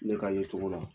Ne ka ye cogo la